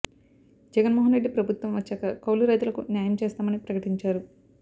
జగన్ మోహన్ రెడ్డి ప్రభుత్వం వచ్చాక కౌలు రైతులకు న్యాయం చేస్తామని ప్రకటించారు